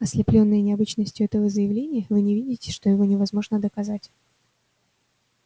ослеплённые необычностью этого заявления вы не видите что его невозможно доказать